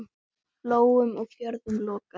Flóum og fjörðum lokað.